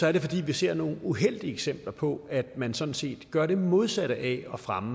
er det fordi vi ser nogle uheldige eksempler på at man sådan set gør det modsatte af at fremme